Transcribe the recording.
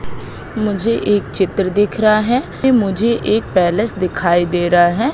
मुझे एक चित्र दिख रहा हैं मुझे एक पैलेस दिखाई दे रहा है।